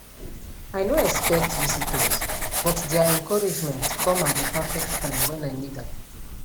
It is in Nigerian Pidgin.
i no expect visitors but their encouragement come at the perfect time when i need am